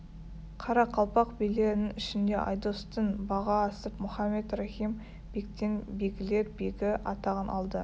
қарақалпақ билерінің ішінде айдостың бағы асып мұхаммед рахим бектен бегілер бегі атағын алды